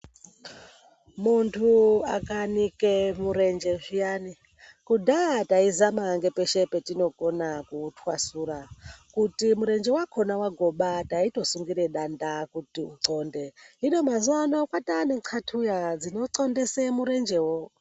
Muntu akanike murenje zviyani kudhaya taizama nepeshe patinokona kuutwasura kuti murenje wakona wagoma taitosungira danda kuti uthonde. Hino mazuva anawa kwane thatuya dzinothondesa kuti utwasuke.